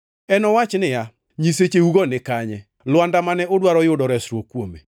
Enowach niya, “Nyisecheugo nikanye, lwanda mane udwaro yudo resruok kuome,